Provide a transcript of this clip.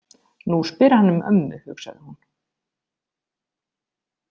Nú spyr hann um ömmu, hugsaði hún.